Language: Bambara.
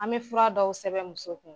An bɛ fura dɔw sɛbɛn muso kun.